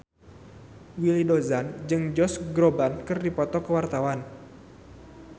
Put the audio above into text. Willy Dozan jeung Josh Groban keur dipoto ku wartawan